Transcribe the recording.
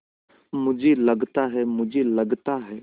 मुझे लगता है मुझे लगता है